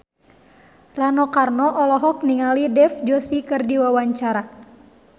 Rano Karno olohok ningali Dev Joshi keur diwawancara